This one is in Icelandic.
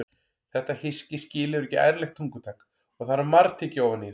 Þetta hyski skilur ekki ærlegt tungutak og þarf að margtyggja ofan í það.